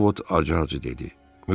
Ovot acı-acı dedi.